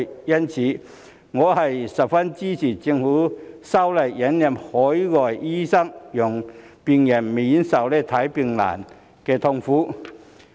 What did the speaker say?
因此，我十分支持政府修例引入海外醫生，讓病人免受看病難的痛苦。